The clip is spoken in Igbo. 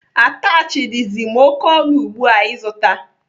Atachị dizi m oké ọnụ ugbu a ịzụta.